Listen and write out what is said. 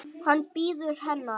Hann bíður hennar.